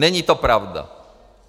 Není to pravda.